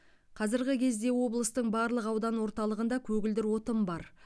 қазіргі кезде облыстың барлық аудан орталығында көгілдір отын бар